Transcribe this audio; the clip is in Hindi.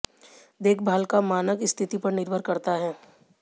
देखभाल का मानक स्थिति पर निर्भर करता है